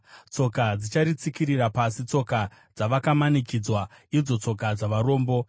Tsoka dzicharitsikirira pasi, tsoka dzavakamanikidzwa, idzo tsoka dzavarombo.